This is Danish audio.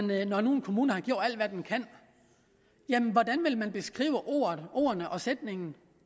med når nu en kommune har gjort alt hvad den kan jamen hvordan vil man definere ordene og sætningen